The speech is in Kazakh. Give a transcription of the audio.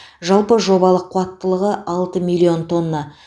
жалпы жобалық қуаттылығы алты миллион тонна